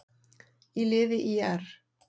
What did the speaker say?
í liði ÍR.